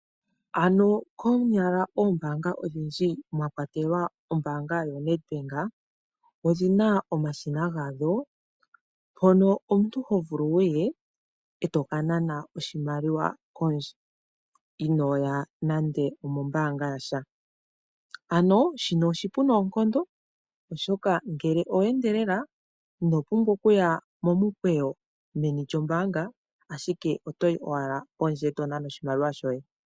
Konyala oombaanga odhindji mwa kwatelwa ombaanga yaNedbank, odhi na omashina gadho mpono omuntu ho vulu wu ye e to ka nana oshimaliwa pondje, inooya meni lyombaanga. Shino oshipu noonkondo, oshoka ngele owe endelela, ino pumbwa okuya momukweyo, meni lyombaanga, ashike oto yi owala pondje e to nana oshimaliwa shoye.